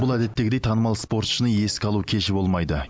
бұл әдеттегідей танымал спортшыны еске алу кеші болмайды